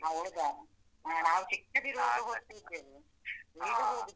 ಹೌದಾ, ನಾವ್ ಚಿಕ್ಕದಿರುವಾಗ ಹೋಗ್ತಿದ್ದೆವು ಈಗ ಹೋಗುದಿಲ್ಲ.